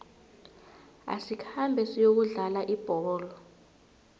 asikhambe siyokudlala ibholo